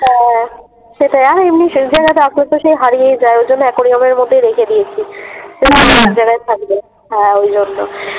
সেটাই আর রাখলেতো সেই হারিয়েই যায় ওই জন্য অ্যাকোরিয়ামের মধ্যেই রেখে দিয়েছি জায়গায় থাকবে হ্যাঁ ওই জন্য।